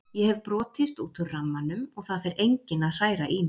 Ég hef brotist út úr rammanum og það fer enginn að hræra í mér.